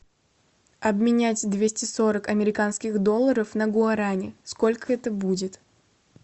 обменять двести сорок американских долларов на гуарани сколько это будет